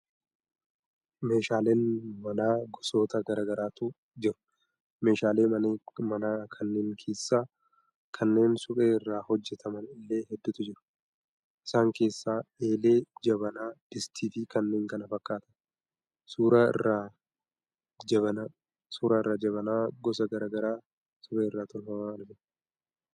Meshaaleen manaa gosoota gara garaatu jiru. Meeshaalee manaa kanneen keessaa kanneen suphee irraa hojjetaman illee hedduutu jiru. Isaan keessaa eelee, jabanaa, distii fi kanneen kana fakkaatani. Suuraa irraa jabanaa gosa gara garaa suphee irraa tolfaman argina.